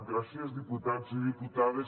gràcies diputats i diputades